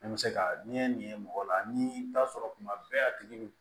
Ne bɛ se ka n'i ye nin ye mɔgɔ la ni i bɛ taa sɔrɔ kuma bɛɛ a tigi bɛ